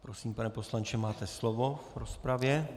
Prosím, pane poslanče, máte slovo v rozpravě.